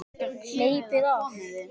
Hleypið af!